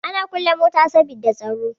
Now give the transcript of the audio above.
Ana kulle mota saboda tsaro.